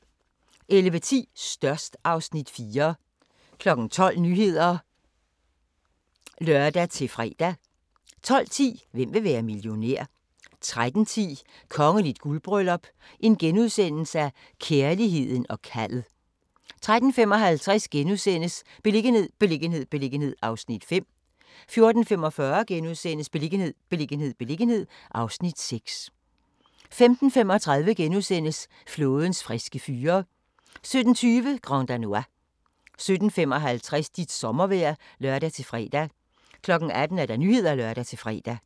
11:10: Størst (Afs. 4) 12:00: Nyhederne (lør-fre) 12:10: Hvem vil være millionær? 13:10: Kongeligt guldbryllup - kærligheden og kaldet * 13:55: Beliggenhed, beliggenhed, beliggenhed (Afs. 5)* 14:45: Beliggenhed, beliggenhed, beliggenhed (Afs. 6)* 15:35: Flådens friske fyre * 17:20: Grand Danois 17:55: Dit sommervejr (lør-fre) 18:00: Nyhederne (lør-fre)